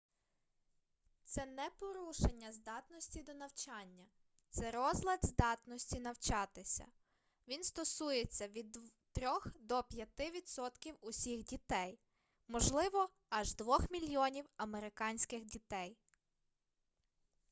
це не порушення здатності до навчання це розлад здатності навчатися він стосується від 3-х до 5-ти відсотків усіх дітей можливо аж 2-х мільйонів американських дітей